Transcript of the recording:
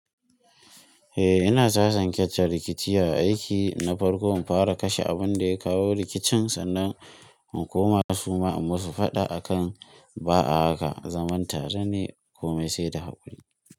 Eh, ina sasanke ce rikici a aiki na farko in fara kashe abun da ya kawo rikicin sannan mu koma su ma inmu su faɗa akan ba a haka zaman tare ne ko mai sai da haƙuri.